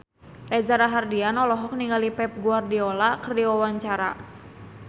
Reza Rahardian olohok ningali Pep Guardiola keur diwawancara